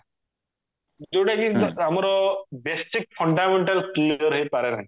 ଯଉଟା କି ଆମର basic fundamental clear ହେଇପାରେ ନାହିଁ